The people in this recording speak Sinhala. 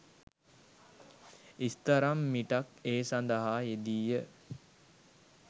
ඉස්තරම් මිටක් ඒ සඳහා යෙදීය